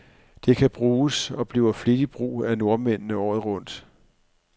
Det kan bruges, og bliver flittigt brug af nordmændene, året rundt.